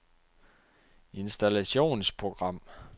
installationsprogram